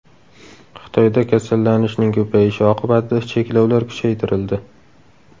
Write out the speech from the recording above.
Xitoyda kasallanishning ko‘payishi oqibatida cheklovlar kuchaytirildi.